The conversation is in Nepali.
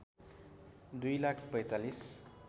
दुई लाख ४५